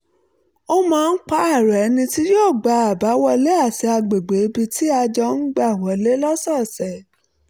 a máa ń pààrọ̀ ẹni tí yóò gbá àbáwọlé àti agbègbè ibi tí a jọ ń gbà wọlé lọ́sọ̀ọ̀sẹ̀